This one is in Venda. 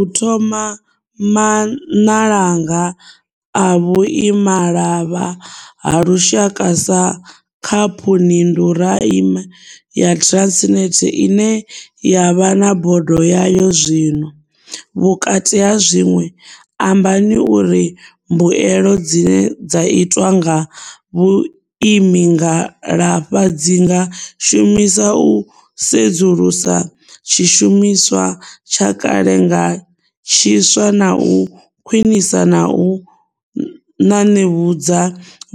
U thoma Maṋalanga a Vhuima malavha ha Lushaka sa khaphuninduraime ya Transnet ine ya vha na bodo yayo zwino, vhukati ha zwiṅwe, ambani uri mbuelo dzine dza itwa nga vhuimi ngalavha dzi nga shumiswa u sudzulusa tshishumiswa tsha kale nga tshiswa na u khwiṅisa na u ṅaṅevhudza